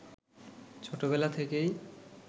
ছোটবেলা থেকেই